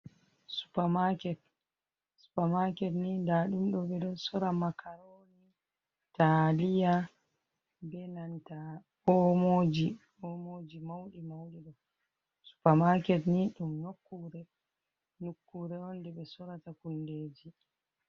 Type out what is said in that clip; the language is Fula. Supermaket ni ɗaɗumdo ɓeɗo sora makaroni taliya , ɓe nanta omoji ,omoji maudi maudi do, supermaket ni dum nukkure onje ɓe sorata hundeji.